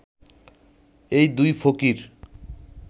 এই দুই ফকির